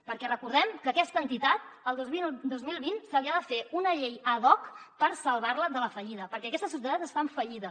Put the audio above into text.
perquè recordem que a aquesta entitat el dos mil vint se li ha de fer una llei ad hoc per salvar la de la fallida perquè aquesta societat està en fallida